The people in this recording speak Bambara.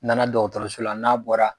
N nana dɔgɔtɔrɔso la n'a bɔra